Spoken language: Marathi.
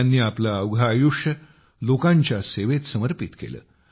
त्यांनी आपले अवघे आयुष्य लोकांच्या सेवेत समर्पित केले